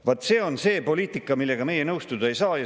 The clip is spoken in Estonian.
Vaat see on see poliitika, millega meie nõustuda ei saa.